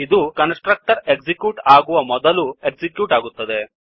ಇದು constructor execute ಆಗುವ ಮೊದಲು ಎಕ್ಸಿಕ್ಯೂಟ್ ಆಗುತ್ತದೆ